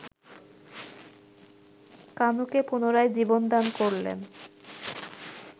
কানুকে পুনরায় জীবন দান করলেন